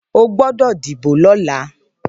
Óogbòdò díbó lòlá